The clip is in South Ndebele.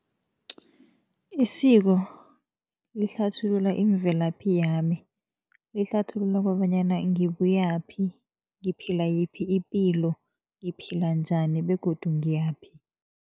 Isiko lihlathulula imvelaphi yami. Lihlathulula kobanyana ngibuyaphi, ngiphila yiphi ipilo, ngiphila njani begodu ngiyaphi.